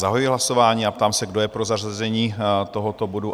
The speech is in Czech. Zahajuji hlasování a ptám se, kdo je pro zařazení tohoto bodu?